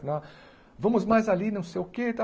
Falei, ah vamos mais ali, não sei o que, tá?